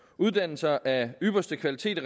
uddannelser af ypperste kvalitet